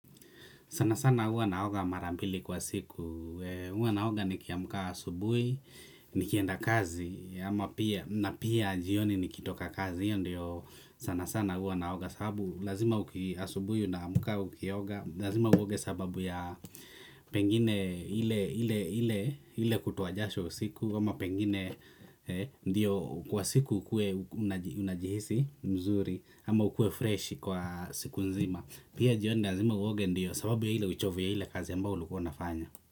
Sana sana huwa naoga mara mbili kwa siku. Huwa naoga nikiamka asubuhi, nikienda kazi, ama pia na pia jioni nikitoka kazi, hiyo ndiyo sana sana huwa naoga sababu lazima uki asubui unaamka ukioga, lazima uoge sababu ya pengine ile ile ile ile kutoa jasho usiku, ama pengine ndiyo kwa siku ukuwe unaji unajihisi mzuri, ama ukuwe fresh kwa siku nzima. Pia jioni lazima uoge ndiyo sababu ya ile uchovu ya ile kazi ambayo ulikuwa unafanya.